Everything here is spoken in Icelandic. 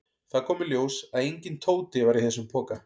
Það kom í ljós að enginn Tóti var í þessum poka.